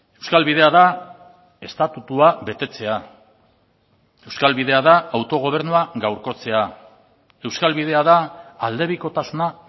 euskal bidea da estatutua betetzea euskal bidea da autogobernua gaurkotzea euskal bidea da aldebikotasuna